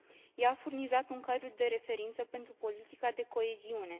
Ea a furnizat un cadru de referință pentru politica de coeziune.